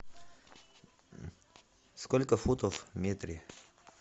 сколько футов в метре